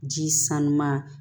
Ji sanuya